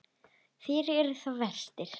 Þér eruð sá versti.